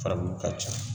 Fabu ka ca